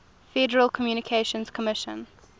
federal communications commission